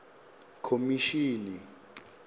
khomishini